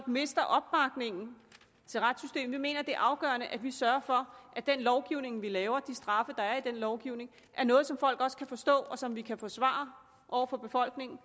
mister opbakningen til retssystemet vi mener det er afgørende at vi sørger for at den lovgivning vi laver og de straffe der er i den lovgivning er noget som folk kan forstå og som vi kan forsvare over for befolkningen